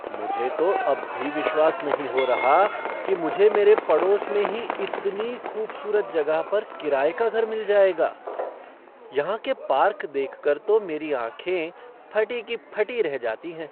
मुझे तो अब भी विश्वास नहीं हो रहा कि मुझे मेरे पड़ोस में ही इतनी ख़ूबसूरत जगह पर किराए का घर मिल जाएगा। यहाँ के पार्क देखकर तो मेरी ऑंखें फटी की फटी रह जाती हैं।